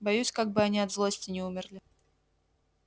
боюсь как бы они от злости не умерли